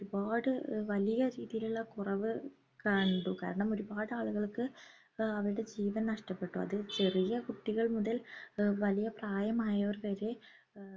ഒരുപാട് വലിയ രീതിയിലുള്ള കുറവ് കണ്ടു കാരണം ഒരുപാട് ആളുകൾക്ക് ആഹ് അവരുടെ ജീവൻ നഷ്ട്ടപ്പെട്ടു അത് ചെറിയ കുട്ടികൾ മുതൽ ഏർ വലിയ പ്രായമായവർ വരെ ഏർ